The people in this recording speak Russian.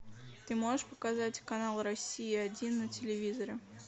ты можешь показать канал россия один на телевизоре